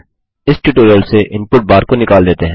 इस ट्यूटोरियल से input bar को निकाल देते हैं